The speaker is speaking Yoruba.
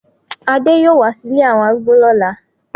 Ade yoo wa si ìlé awọn arúgbó lola